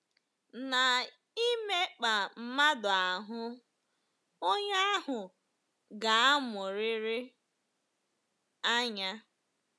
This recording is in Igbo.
Na-ịmekpaa mmadụ ahụ́, onye ahụ ga-emuriri anya.